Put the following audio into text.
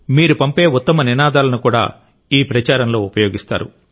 మీరు పంపే ఉత్తమ నినాదాలను కూడా ఈ ప్రచారంలో ఉపయోగిస్తారు